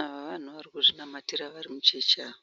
Ava vanhu varikuzvinamatira varimusheshi ava.